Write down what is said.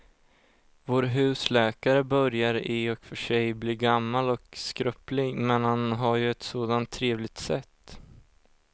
Vår husläkare börjar i och för sig bli gammal och skröplig, men han har ju ett sådant trevligt sätt!